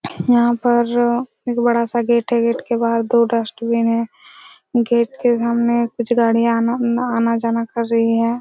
यहाँ पर एक बड़ा सा गेट है गेट के बाहर दो डस्टबिन है गेट के सामने कुछ गाड़िया आना उना आना-जाना कर रही है।